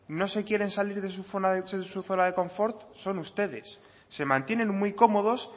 no se quieren salir de su zona de confort son ustedes se mantienen muy cómodos